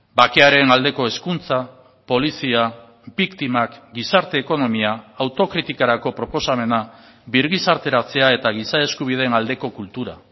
bakearen aldeko hezkuntza polizia biktimak gizarte ekonomia autokritikarako proposamena birgizarteratzea eta giza eskubideen aldeko kultura